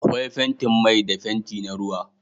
Akwai fentin mai da fenti na ruwa